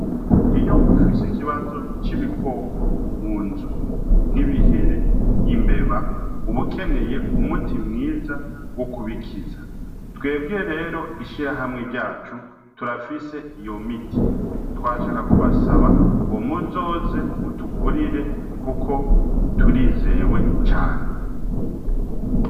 Iyo ufise ikibazo c'ibikoko mu nzu nkibihere imbeba ubukeneye umuti mwiza wo kubikiza twebwiye rero ishira hamwe ryacu turafise iyo miti twashaka kubasaba ngo muzoze mutugurire, kuko turize zewe cane.